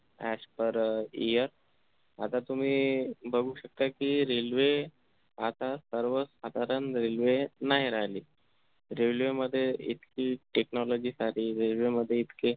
as per अह year आता तुम्ही बघू शकता कि railway आता सर्वसाधारण railway नाही राहिली railway मध्ये इतकी technology सारी railway मध्ये इतके